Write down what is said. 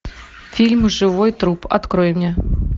фильм живой труп открой мне